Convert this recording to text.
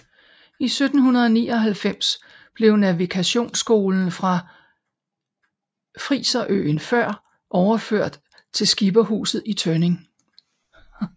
I 1799 blev navigationsskolen fra friserøen Før overført til Skipperhuset i Tønning